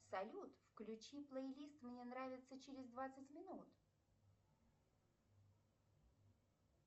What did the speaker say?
салют включи плейлист мне нравится через двадцать минут